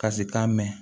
Ka si k'a mɛn